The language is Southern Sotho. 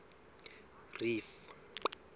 reef